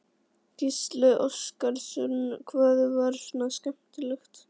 Gísli Óskarsson: Hvað var svona skemmtilegt?